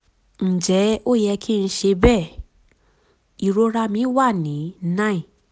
ǹjẹ́ ó yẹ kí n ṣe bẹ́ẹ̀? ìrora mi wà ní nine